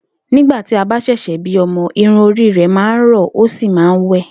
Nígbà tí a bá s̩è̩s̩è̩ bí o̩mo̩, irun orí rè̩ máa rò̩ ó sì máa ń wé̩